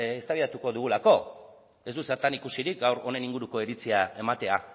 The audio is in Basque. eztabaidatuko dugulako ez du zertan ikusirik gaur honen inguruko iritsia ematea